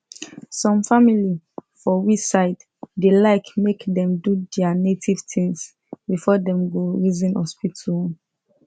some family for we side da like make dem do their native things before them go reason hospital own